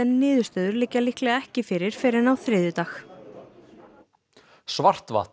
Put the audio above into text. niðurstöður liggja líklega ekki fyrir fyrr en á þriðjudag